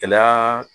Gɛlɛya